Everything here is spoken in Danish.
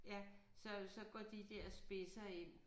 Ja så så går de der spidser ind